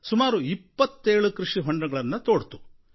ಸುಮಾರು 27 ಕೃಷಿ ಹೊಂಡಗಳನ್ನು ತೋಡಿತು